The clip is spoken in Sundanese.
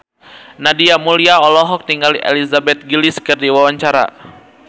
Nadia Mulya olohok ningali Elizabeth Gillies keur diwawancara